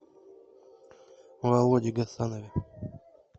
володе гасанове